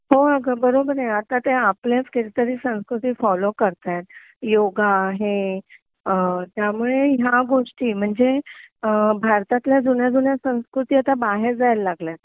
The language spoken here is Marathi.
हो अगं बरोबर आहे ते आता आपल्याच कितीतरी संस्कृती फॉलो करताहेत योगा हे त्यामुळे ह्या गोष्टी म्हणजे अ भारतातल्या जुन्या जुन्या संस्कृती आत बाहेर जायला लागल्यात